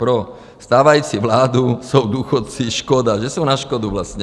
Pro stávající vládu jsou důchodci škoda, že jsou na škodu vlastně.